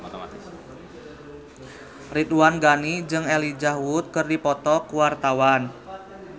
Ridwan Ghani jeung Elijah Wood keur dipoto ku wartawan